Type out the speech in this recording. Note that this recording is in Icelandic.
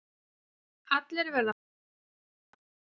Allir verða fúlir í viku